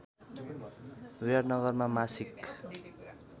विराटनगरमा मासिक